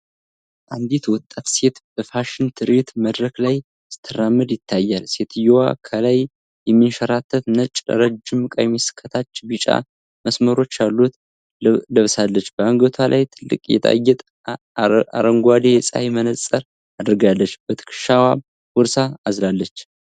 አንዲት ወጣት ሴት በፋሽን ትርኢት መድረክ ላይ ስትራመድ ይታያል። ሴትየዋ ከላይ የሚንሸራተት ነጭ፣ ረጅም ቀሚስ ከታች ቢጫ መስመሮች ያሉት ለብሳለች። በአንገቷ ላይ ትልቅ ጌጣጌጥ፣ አረንጓዴ የፀሐይ መነፅር አድርጋለች፤ በትከሻዋም ቦርሳ አዝላለች።